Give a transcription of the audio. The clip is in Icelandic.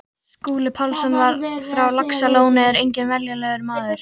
Skúli Pálsson frá Laxalóni er enginn venjulegur maður.